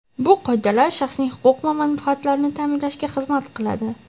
bu qoidalar shaxsning huquq va manfaatlarini ta’minlashga xizmat qiladi.